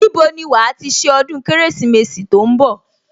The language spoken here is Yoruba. Níbo ni wàá ti ṣe ọdún Kérésìmesì tó ń bọ̀